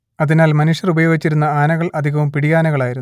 അതിനാൽ മനുഷ്യർ ഉപയോഗിച്ചിരുന്ന ആനകൾ അധികവും പിടിയാനകളായിരുന്നു